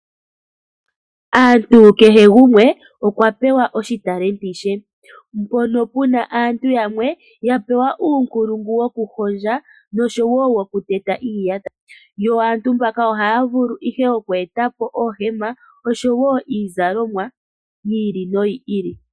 Aantu kehe gumwe okwa pewa oshitalenti she. Mpono puna aantu yamwe ya pewa uunkulungu woku hondja noshowo woku teta iiyata. Yo aantu mbaka oha ya vulu ihe oku etapo oohema oshowo iizalomwa yi ili noyi ili.